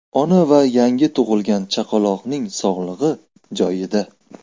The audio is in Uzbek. Ona va yangi tug‘ilgan chaqaloqning sog‘lig‘i joyida.